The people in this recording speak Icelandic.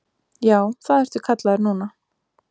Já, það ertu kallaður núna.